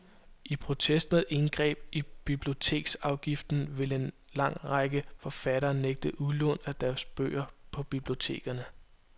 I protest mod indgreb i biblioteksafgiften vil en lang række forfattere nægte udlån af deres bøger på bibliotekerne.